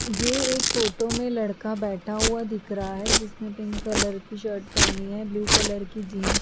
ये एक फोटो में लड़का बैठा हुआ दिख रहा है जिसने पिंक कलर की शर्ट पहनी है ब्लू कलर की जींस --